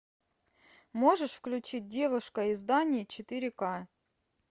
можешь включить девушка из дании четыре ка